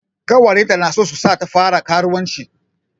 Ƙawayenta na so su sa ta fara karuwanci.